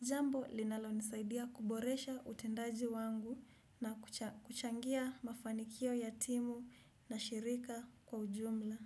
Jambo linalo nisaidia kuboresha utendaji wangu na kuchangia mafanikio ya timu na shirika kwa ujumla.